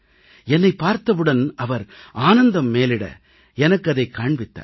என்னைப் பார்த்தவுடன் அவர் ஆனந்தம் மேலிட எனக்கு அதைக் காண்பித்தார்